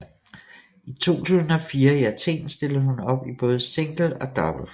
I 2004 i Athen stillede hun op i både single og double